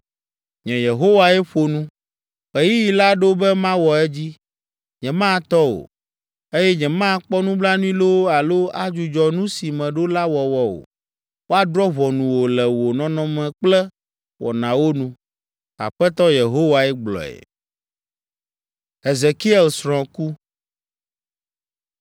“ ‘Nye Yehowae ƒo nu. Ɣeyiɣi la ɖo be mawɔ edzi. Nyematɔ o, eye nyemakpɔ nublanui loo alo adzudzɔ nu si meɖo la wɔwɔ o. Woadrɔ̃ ʋɔnu wò le wò nɔnɔme kple wɔnawo nu. Aƒetɔ Yehowae gblɔe.’ ”